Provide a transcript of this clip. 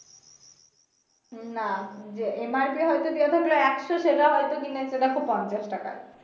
উম না MRP হয়তো দেয়া থাকলো একশ সেটা হয়তো কিনেছে দেখো পঞ্ছাশ টাকায়